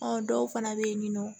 Ɔ dɔw fana bɛ yen nin nɔ